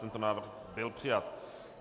Tento návrh byl přijat.